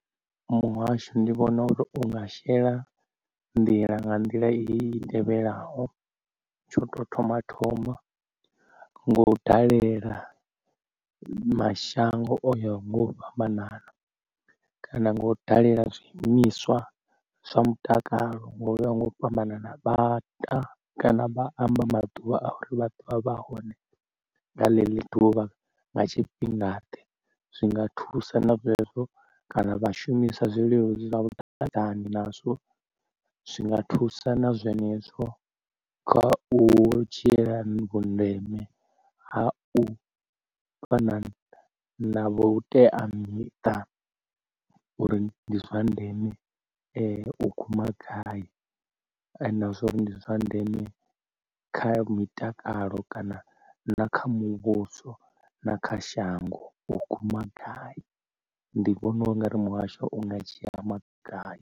Muhasho ndi vhona unga shela nḓila nga nḓila i tevhelaho, tsha u tou thoma thoma ngo u dalela mashango oyo nga u fhambanana kana nga u dalela zwiimiswa zwa mutakalo ngo uya nga u fhambanana vhaḓa kana vha amba maḓuvha a uri vha ḓovha vha hone nga ḽeḽo ḓuvha nga tshifhinga ḓe. Zwinga thusa na zwezwo kana vha shumisa zwileludzi zwa vhudavhidzani nazwo zwinga thusa na zwenezwo kha u dzhiela vhundeme ha u fana na vhuteamiṱa uri ndi zwa ndeme u guma gai na zwori ndi zwa ndeme kha mitakalo kana na kha muvhuso na kha shango u guma gai ndi vhona u nga ri muhasho unga dzhia maga.